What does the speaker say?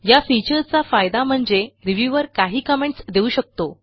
या फीचरचा फायदा म्हणजे रिव्ह्यूअर काही कमेंट्स देऊ शकतो